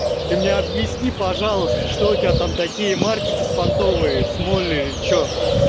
ты мне объясни пожалуйста что у тебя там такие марки беспонтовые смоли что